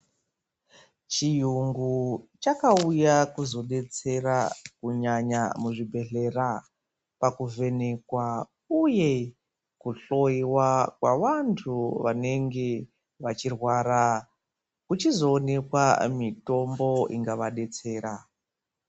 Chiyungu chakauya kuzodetsera kunyanya muzvibhedhlera pakuvhenekwa uye kuhloyiwa kwevanhu vanenge vachirwara kuchizoonekwa mitombo ingavadetsera.